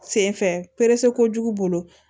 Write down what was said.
Sen fɛ kojugu bolo